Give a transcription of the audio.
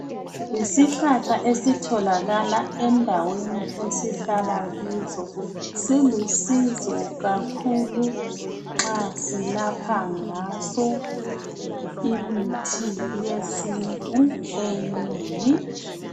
Yisihlahla esitholakala endaweni esihlala kizo. Silusizo kakhulu nxa silapha ngaso imithi yesintu eminengi